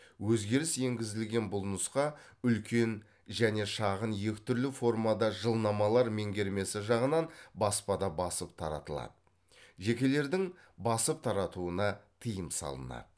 өзгеріс енгізілген бұл нұсқа үлкен және шағын екі түрлі формада жылнамалар меңгермесі жағынан баспада басып таратылады жекелердің басып таратуына тыйым салынады